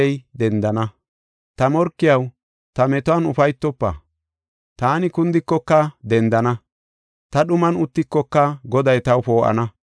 Ta morkiyaw, ta metuwan ufaytofa; taani kundikoka dendana; ta dhuman uttikoka Goday taw poo7ana.